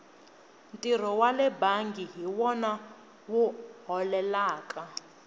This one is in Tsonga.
ntirho wale bangi hi wona wu holelaka